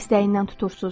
Dəstəyindən tutursuz.